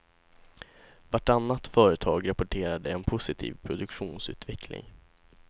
Vartannat företag rapporterade en positiv produktionsutveckling.